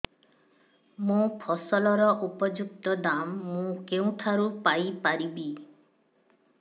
ମୋ ଫସଲର ଉପଯୁକ୍ତ ଦାମ୍ ମୁଁ କେଉଁଠାରୁ ପାଇ ପାରିବି